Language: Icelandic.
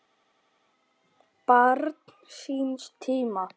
Barn síns tíma?